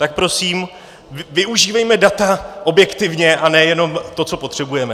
Tak prosím, využívejme data objektivně a ne jenom to, co potřebujeme.